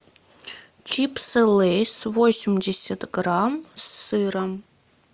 чипсы лейс восемьдесят грамм с сыром